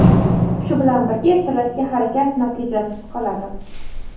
Shu bilan birga ertalabki harakat natijasiz qoladi.